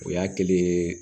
O y'a kelen ye